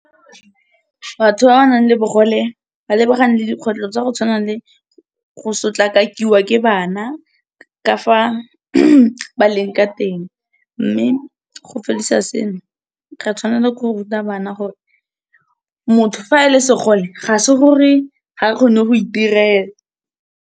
Batho ba ba nang le bogole ba lebagane le dikgwetlho tsa go tshwana le go sotlakakiwa ke bana, ka fa ba leng ka teng, mme go sengwe, ra tshwanela ke go ruta bana gore motho ga a le segole ga kgone go itirela.